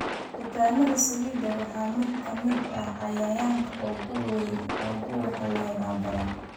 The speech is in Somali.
Kutaannada saliiddu waa mid ka mid ah cayayaanka ugu waxyeellada badan